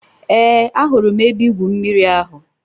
Eé, ahụrụ m ebe-igwụ mmiri ahụ.